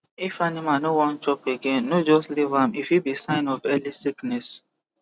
if animal no wan chop again no just leave am e fit be sign of early sickness